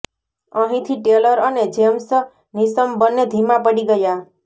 અહીંથી ટેલર અને James Neesham બંને ધીમા પડી ગયા